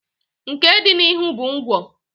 nke dị n'ihu bụ ngwọ.